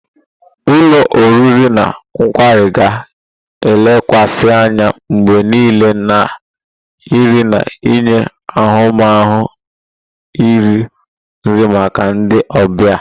Ulo oriri na kwari ga-elekwasị anya mgbe niile na nri na-enye ahụmahụ iri nri maka ndị ọbịa.